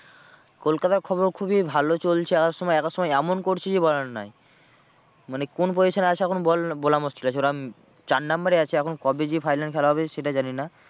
কলকাতার খবর খুবই ভালো চলছে আর সময় এক এক সময় এমন করছে যে বলার নয়। মানে কোন position এ আছে এখন বল বলা মুশকিল আছে ওরা চার number এ আছে এখন কবে যে final খেলা হবে সেটা জানি না।